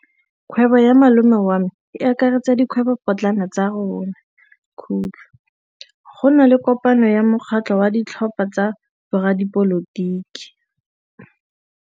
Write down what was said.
Kgwêbô ya malome wa me e akaretsa dikgwêbôpotlana tsa rona. Go na le kopanô ya mokgatlhô wa ditlhopha tsa boradipolotiki.